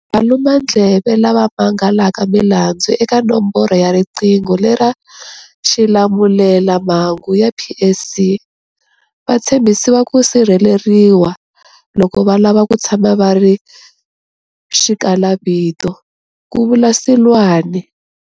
Valumandleve lava mangalaka milandzu eka nomboro ya riqingho lera xilamulelamhangu ya PSC va tshembisiwa ku sirheleriwa loko va lava ku tshama va ri xikalavito, ku vula Seloane.